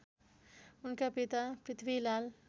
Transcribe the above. उनका पिता पृथ्वीलाल